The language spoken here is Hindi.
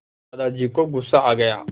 दादाजी को गुस्सा आ गया